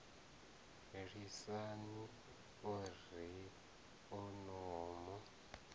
lisani o ri o no